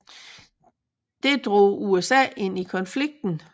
Det drog USA ind i konflikten